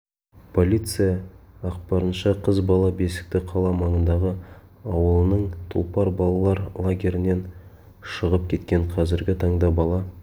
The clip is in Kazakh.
прлиция ақпарынша қыз бала бесікті қала маңындағы ауылының тұлпар балалар лагерінен шығып кеткен қазіргі таңда бала